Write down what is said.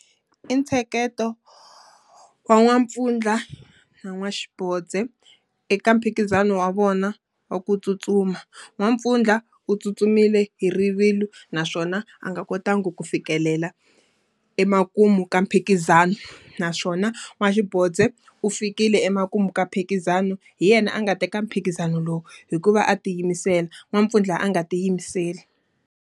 I ntsheketo wa n'wampfundla na n'waxibozde eka mphikizano wa vona wa ku tsutsuma. N'wampfundla u tsutsumile hi rivilo naswona a nga kotanga ku fikelela emakumu ka mphikizano, naswona n'waxibozde u fikile emakumu ka mphikizano. Hi yena a nga teka mphikizano lowu, hikuva a tiyimisela. N'wampfundla a nga tiyimiseli.